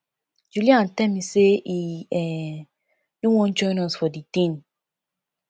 julian tell me say he um no wan join us for the thing